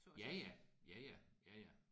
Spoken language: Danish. Ja ja. Ja ja. Ja ja